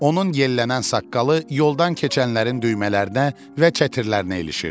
Onun yellənən saqqalı yoldan keçənlərin düymələrinə və çətirlərinə ilişirdi.